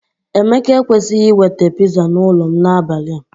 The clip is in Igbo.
Emeka ekwesịghị iweta pizza n'ụlọ m n'abalị a.